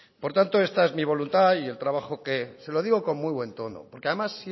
por tanto esta es mi voluntad y el trabajo que se lo digo con muy buen tono porque además